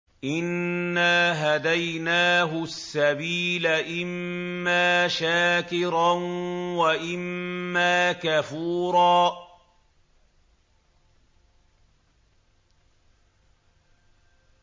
إِنَّا هَدَيْنَاهُ السَّبِيلَ إِمَّا شَاكِرًا وَإِمَّا كَفُورًا